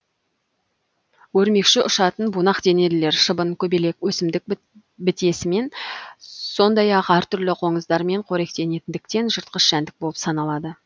өрмекші ұшатын бунақденелілер шыбын көбелек өсімдік бітесімен сондай ақ әр түрлі қоңыздармен қоректенетіндіктен жыртқыш жәндік болып саналады